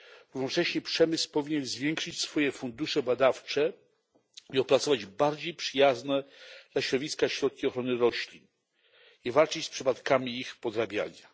Jednocześnie przemysł powinien zwiększyć swoje fundusze badawcze i opracować bardziej przyjazne dla środowiska środki ochrony roślin oraz walczyć z przypadkami ich podrabiania.